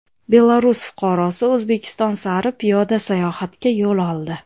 Belarus fuqarosi O‘zbekiston sari piyoda sayohatga yo‘l oldi.